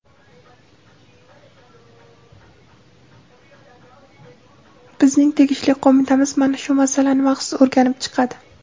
bizning tegishli qo‘mitamiz mana shu masalani maxsus o‘rganib chiqadi.